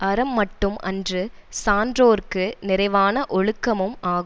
அறம் மட்டும் அன்று சான்றோர்க்கு நிறைவான ஒழுக்கமும் ஆம்